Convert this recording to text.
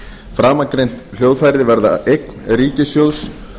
framangreind hljóðfæri verða eign ríkissjóðs